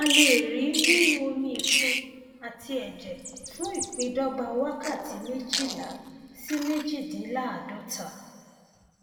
a lè rí i nínú omiìfun àti ẹjẹ fún ìpíndọgba wákàtí méjìlá sí méjìdínláàádọta